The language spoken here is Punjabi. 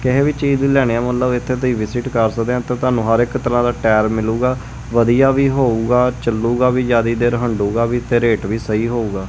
ਕਿਸੇ ਵੀ ਚੀਜ਼ ਲੈਣੀ ਆ ਮਤਲਬ ਇਥੇ ਤੁਸੀਂ ਵਿਜਿਟ ਕਰ ਸਕਦੇ ਤਾਂ ਤੁਹਾਨੂੰ ਹਰ ਇੱਕ ਤਰਾਂ ਦਾ ਟਾਇਰ ਮਿਲੂਗਾ ਵਧੀਆ ਵੀ ਹੋਊਗਾ ਚਲੂਗਾ ਵੀ ਜਿਆਦਾ ਦੇਰ ਹੰਡੂਗਾ ਵੀ ਤੇ ਰੇਟ ਵੀ ਸਹੀ ਹੋਊਗਾ।